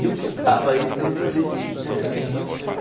E eu quebrava isso pelo meu jeito de ser né então.